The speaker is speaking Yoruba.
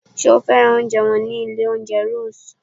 Sé o fẹ́ràn oúnjẹ wọn ní ilé oúnjẹ Rose?